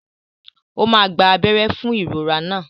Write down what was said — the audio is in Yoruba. Ó máa gba abẹ́rẹ́ fún ìrora náà.